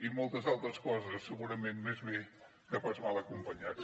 i moltes altres coses i segurament més bé que pas mal acompanyats